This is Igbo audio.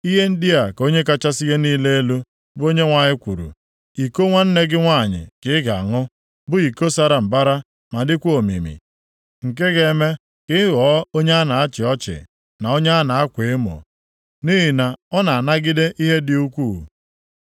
“Ihe ndị a ka Onye kachasị ihe niile elu, bụ Onyenwe anyị kwuru: “Iko nwanne gị nwanyị ka ị ga-aṅụ bụ iko sara mbara ma dịkwa omimi; nke ga-eme ka ị ghọọ onye a na-achị ọchị na onye a na-akwa emo, nʼihi na ọ na-anagide ihe dị ukwuu.